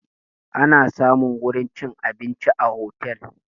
Ana samun wurin cin abinci a otel